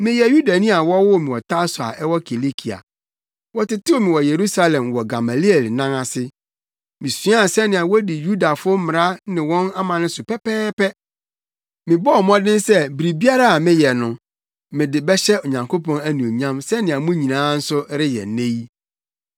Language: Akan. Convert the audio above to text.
“Meyɛ Yudani a wɔwoo me wɔ Tarso a ɛwɔ Kilikia. Wɔtetew me wɔ Yerusalem wɔ Gamaliel nan ase. Misuaa sɛnea wodi Yudafo mmara ne wɔn amanne so pɛpɛɛpɛ. Mebɔɔ mmɔden sɛ biribiara a meyɛ no, mede bɛhyɛ Onyankopɔn anuonyam sɛnea mo nyinaa nso reyɛ nnɛ yi.